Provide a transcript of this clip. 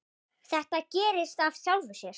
Það gerist af sjálfu sér.